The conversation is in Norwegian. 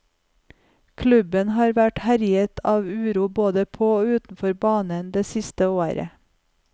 Klubben har vært herjet av uro både på og utenfor banen det siste året.